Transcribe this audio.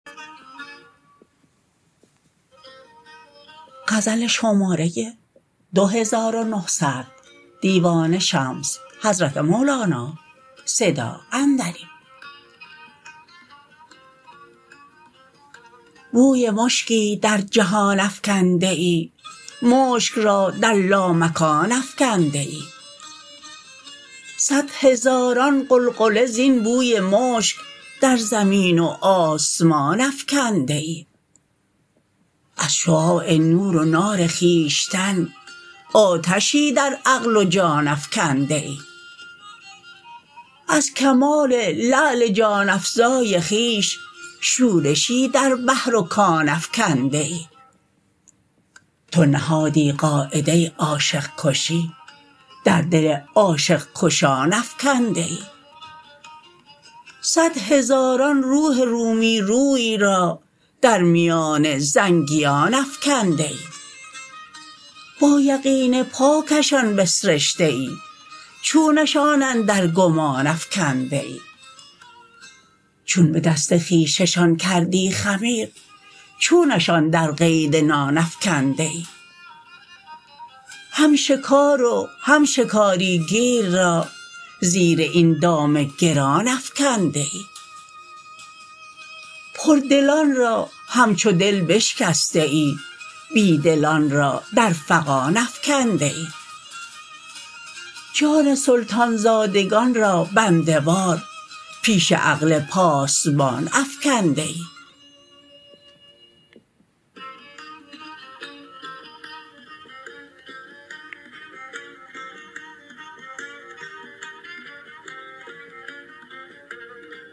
بوی مشکی در جهان افکنده ای مشک را در لامکان افکنده ای صد هزاران غلغله زین بوی مشک در زمین و آسمان افکنده ای از شعاع نور و نار خویشتن آتشی در عقل و جان افکنده ای از کمال لعل جان افزای خویش شورشی در بحر و کان افکنده ای تو نهادی قاعده عاشق کشی در دل عاشق کشان افکنده ای صد هزاران روح رومی روی را در میان زنگیان افکنده ای با یقین پاکشان بسرشته ای چونشان اندر گمان افکنده ای چون به دست خویششان کردی خمیر چونشان در قید نان افکنده ای هم شکار و هم شکاری گیر را زیر این دام گران افکنده ای پردلان را همچو دل بشکسته ای بی دلان را در فغان افکنده ای جان سلطان زادگان را بنده وار پیش عقل پاسبان افکنده ای